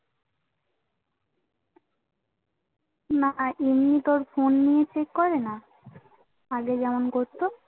না এমনি তোর Phone নিয়ে Check করেনা আগে যেমন করতো